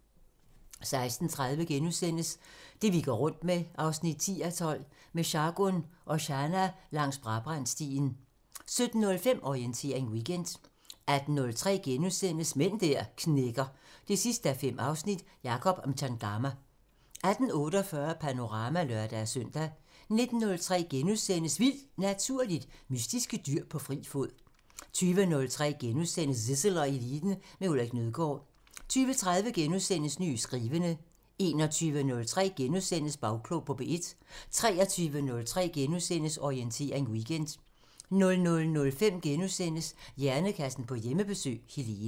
16:30: Det vi går rundt med 10:12 – Med Sargun Oshana langs Brabrandstien * 17:05: Orientering Weekend 18:03: Mænd der knækker 5:5 – Jacob Mchangama * 18:48: Panorama (lør-søn) 19:03: Vildt Naturligt: Mystiske dyr på fri fod * 20:03: Zissel og Eliten: Med Ulrik Nødgaard * 20:30: Nye skrivende * 21:03: Bagklog på P1 * 23:03: Orientering Weekend * 00:05: Hjernekassen på Hjemmebesøg – Helene *